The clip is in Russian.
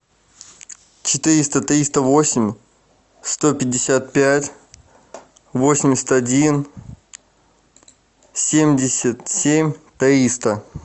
четыреста триста восемь сто пятьдесят пять восемьдесят один семьдесят семь триста